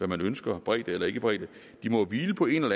man ønsker bredde eller ikke bredde må jo hvile på en